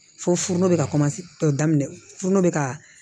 Forono bɛ ka tɔ daminɛ furunɔ bɛ ka